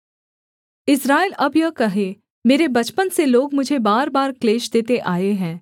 इस्राएल अब यह कहे मेरे बचपन से लोग मुझे बार बार क्लेश देते आए हैं